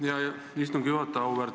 Aitäh, hea istungi juhataja!